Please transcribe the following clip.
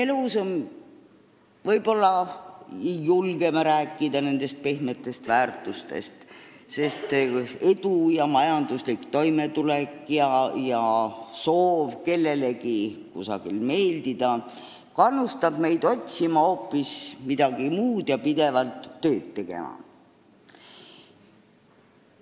Võib-olla ei julge me rääkida pehmetest väärtustest, sest edu ja majanduslik toimetulek, soov kellelegi kusagil meeldida kannustab meid otsima hoopis midagi muud ja pidevalt tööd tegema.